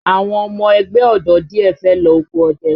Àwọn ọmọ ẹgbẹ́ ọ̀dọ́ díẹ̀ fẹ́ lọ oko ọdẹ